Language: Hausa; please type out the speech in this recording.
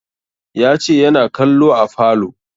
Ya ce yana kallo a falo